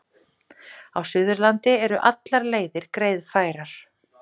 Á Suðurlandi eru allar leiðir greiðfærar